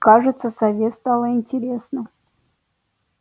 кажется сове стало интересно